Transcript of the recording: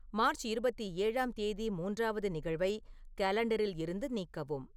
March இருபத்தி ஏழாம் தேதி மூன்றாவது நிகழ்வை காலாண்டரிலிருந்து நீக்கவும்